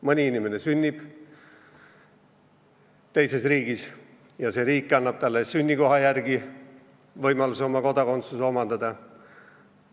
Mõni inimene sünnib teises riigis ja see riik annab talle sünnikoha järgi võimaluse kodakondsus omandada.